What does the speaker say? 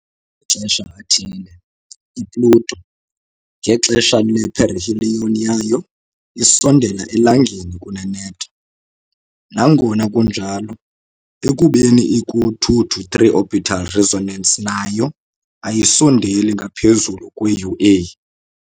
Ngamaxesha athile i-Pluto, ngexesha le-perihelion yayo, isondela eLangeni kuneNepta, nangona kunjalo, ekubeni iku-2-3 orbital resonance nayo, ayisondeli ngaphezu kwe UA .